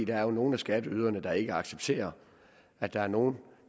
er nogle af skatteyderne der ikke accepterer at der er nogle